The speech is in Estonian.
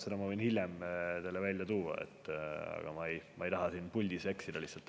Selle ma võin hiljem teile välja tuua, aga ma ei taha siin puldis eksida.